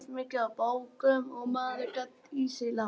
Éta eins mikið af bókum og maður gat í sig látið.